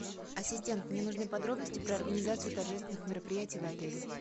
ассистент мне нужны подробности про организацию торжественных мероприятий в отеле